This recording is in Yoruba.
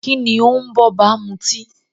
Kíni ó ń b'ọ́ba mutí?